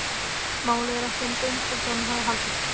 Málið ekki eins einfalt og hann hafði haldið.